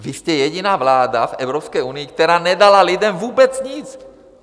Vy jste jediná vláda v Evropské unii, která nedala lidem vůbec nic.